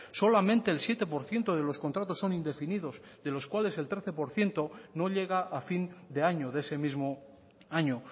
solamente el siete por ciento de los contratos son indefinidos de los cuales el trece por ciento no llega a fin de año de ese mismo año